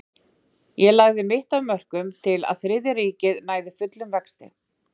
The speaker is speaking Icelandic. Ég lagði mitt af mörkum til að Þriðja ríkið næði fullum vexti.